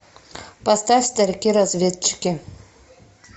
поставь старики разведчики